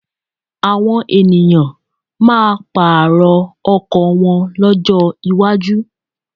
Àwọn ènìyàn máa pààrọ̀ ọkọ̀ wọn lọ́jọ́ iwájú.